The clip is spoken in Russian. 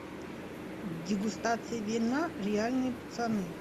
дегустация вина реальные пацаны